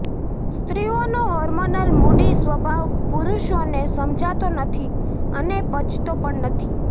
સ્ત્રીઓનો hormonal moody સ્વભાવ પુરુષોને સમજાતો નથી અને પચતો પણ નથી